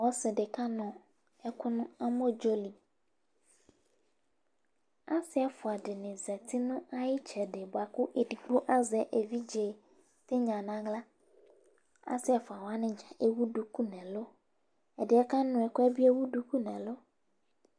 Osidi kanu eku nu amodzoli OSI efuawani aze evidze nu awla as efuani ewu duku nu elu